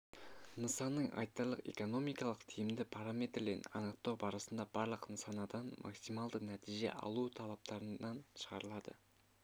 нысанның айтарлық экономикалық тиімді параметрлерін анықтау барысында барлық нысанадан максималды нәтиже алу талаптарынан шығарылады